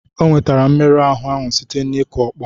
O nwetara mmerụ ahụ ahụ site n'ikụ ọkpọ.